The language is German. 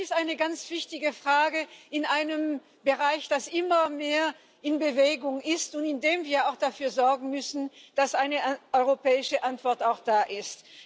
Und das ist eine ganz wichtige Frage in einem Bereich, der immer mehr in Bewegung ist und in dem wir dafür sorgen müssen, dass eine europäische Antwort da ist.